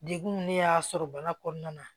Degun ne y'a sɔrɔ bana kɔnɔna na